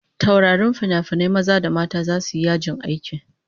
Taurarin finafinai maza da mata zasu yi yajin aiki